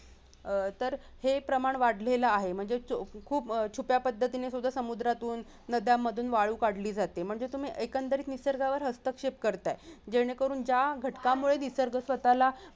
अह तर हे प्रमाण वाढलेला आहे म्हणजे खूप छुप्या पद्धतीने सुध्दा समुद्रातून नद्यांमधून वाळू काढली जाते म्हणजे तुम्ही एकंदरीत निसर्गावर हस्तक्षेप करताय जेणेकरून ज्या घटकामुळे निसर्ग स्वतःला